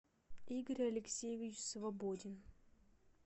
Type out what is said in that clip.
игорь алексеевич свободин